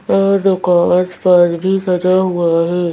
आस पास भी सजा हुआ है।